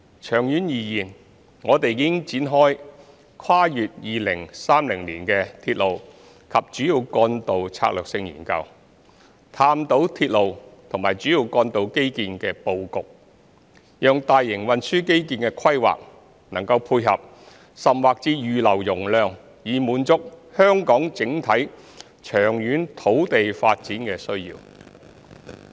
長遠而言，我們已展開《跨越2030年的鐵路及主要幹道策略性研究》，探討鐵路及主要幹道基建的布局，讓大型運輸基建的規劃能配合甚或預留容量以滿足香港整體長遠土地發展的需要。